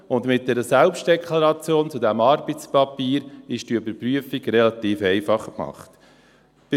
Und mit einer Selbstdeklaration zu diesem Arbeitspapier ist diese Überprüfung relativ einfach gemacht.